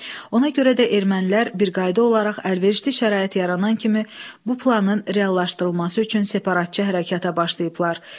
Ona görə də ermənilər bir qayda olaraq əlverişli şərait yaranan kimi bu planın reallaşdırılması üçün separatçı hərəkətə başlayıblar.